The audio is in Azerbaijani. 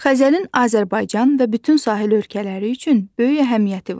Xəzərin Azərbaycan və bütün sahil ölkələri üçün böyük əhəmiyyəti var.